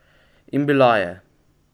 In bila je.